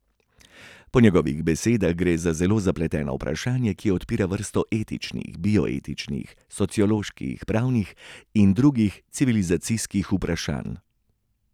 Po njegovih besedah gre za zelo zapleteno vprašanje, ki odpira vrsto etičnih, bioetičnih, socioloških, pravnih in drugih civilizacijskih vprašanj.